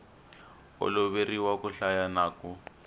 oloveriwa ku hlaya na ku